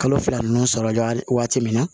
Kalo fila ninnu sɔrɔla jaa waati min na